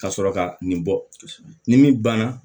Ka sɔrɔ ka nin bɔ ni min banna